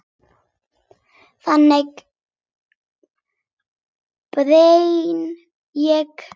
Þannig brenn ég.